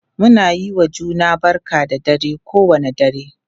Muna yiwa juna barka da dare kowane dare.,